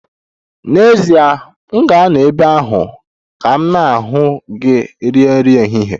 N'ezie, m ga-anọ ebe ahụ ka mụ na gị rie nri ehihie.